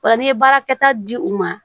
Ola n'i ye baarakɛta di u ma